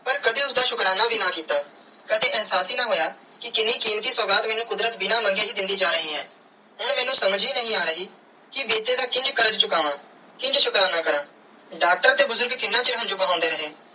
ਪਾਰ ਕਦੇ ਉਸਦਾ ਸ਼ੁਕਰਾਨਾ ਵੀ ਨਾ ਕੀਤਾ ਕਦੀ ਇਹਸਾਸ ਹੀ ਨਾ ਹੋਇਆ ਕਿ ਕੀਨੀ ਕੀਮਤੀ ਸੁਗਾਤ ਮੈਨੂੰ ਕੁਦਰਤ ਬਿਨਾ ਮਨਗੇ ਹੀ ਦੇਂਦੀ ਜਾ ਰਾਏ ਹੈ ਪਾਰ ਸਮਝ ਹੀ ਨਾਈ ਆਹ ਰਾਏ ਕੇ ਬੀਤੇ ਦਾ ਕਿੰਜ ਕਾਰਜ ਚੁਕਾਵੈ ਕਿੰਜ ਸ਼ੁਕਰਾਨਾ ਕਾਰਾ ਡਾਕਟਰ ਤੇ ਬੁਜ਼ਰਗ ਕਿੰਨਾ ਚਿਰ ਹੰਜੂ ਬਹੰਦੇ ਰੇ.